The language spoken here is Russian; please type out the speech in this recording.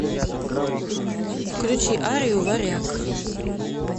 включи арию варяг